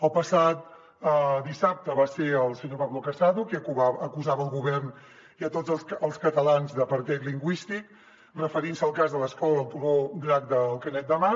el passat dissabte va ser el senyor pablo casado qui acusava el govern i a tots els catalans d’apartheid lingüístic referint se al cas de l’escola del turó del drac de canet de mar